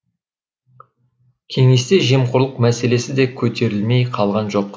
кеңесте жемқорлық мәселесі де көтерілмей қалған жоқ